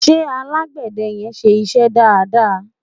ṣé alágbède yen ṣé iṣẹ dada?